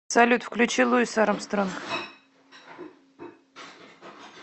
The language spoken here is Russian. салют включи луис армстронг